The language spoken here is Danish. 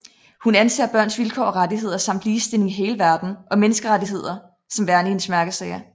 Hun aser børns vilkår og rettigheder samt ligestilling i hele verden og menneskerettigheder som værende hendes mærkesager